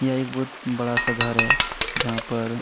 यह एक बहुत बड़ा-सा घर है जहां पर--